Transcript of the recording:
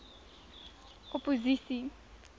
opposisie